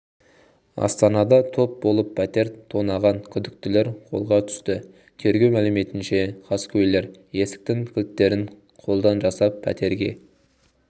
астанада топ болып пәтер тонаған күдіктілер қолға түсті тергеу мәліметінше қаскөйлер есіктің кілттерін қолдан жасап пәтерге